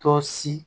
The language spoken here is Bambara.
Tɔ si